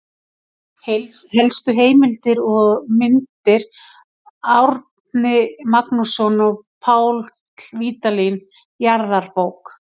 Helstu heimildir og mynd: Árni Magnússon og Páll Vídalín, Jarðabók.